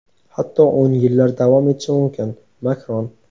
hatto oʼn yillar davom etishi mumkin – Makron.